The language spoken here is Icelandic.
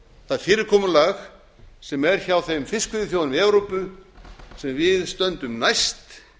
það fyrirkomulag sem er hjá þeim fiskveiðiþjóðum í evrópu sem við stöndum næst